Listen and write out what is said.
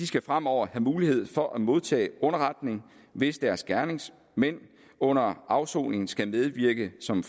skal fremover have mulighed for at modtage underretning hvis deres gerningsmænd under afsoning skal medvirke som